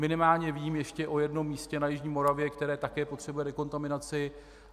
Minimálně vím ještě o jednom místě na jižní Moravě, které také potřebuje dekontaminaci.